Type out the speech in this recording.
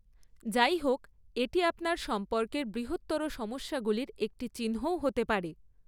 যাইহোক, এটি আপনার সম্পর্কের বৃহত্তর সমস্যাগুলির একটি চিহ্নও হতে পারে।